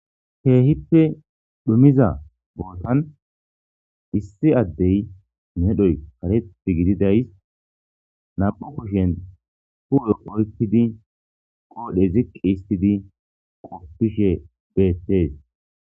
keehippe dhumiza bootan issi addey medhoy kareti gididays nam7u kushen hu7e oykidi qoodhe ziqqi istidi qoppishe beettees